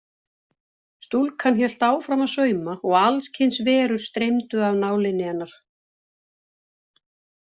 Stúlkan hélt áfram að sauma og alls kyns verur streymdu af nálinni hennar.